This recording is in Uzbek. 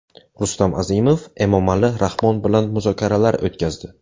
Rustam Azimov Emomali Rahmon bilan muzokaralar o‘tkazdi.